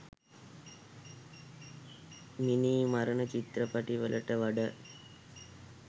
මිනී මරන චිත්‍රපටිවලට වඩා